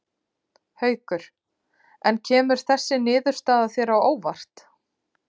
Haukur: En kemur þessi niðurstaða þér á óvart?